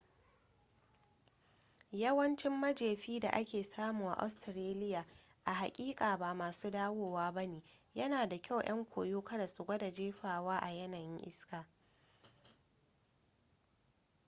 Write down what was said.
yawancin majefi da ake samu a australia a haƙiƙa ba masu dawowa ba ne yana da kyau 'yan koyo kada su gwada jefawa a yanayin iska